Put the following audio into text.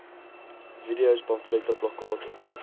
videos pamflette plakkate